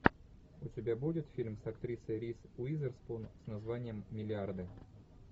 у тебя будет фильм с актрисой риз уизерспун с названием миллиарды